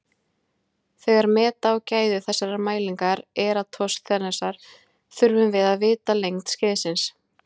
Þegar meta á gæði þessarar mælingar Eratosþenesar þurfum við að vita lengd skeiðsins.